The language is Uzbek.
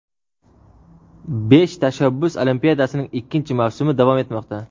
Besh tashabbus olimpiadasining ikkinchi mavsumi davom etmoqda!.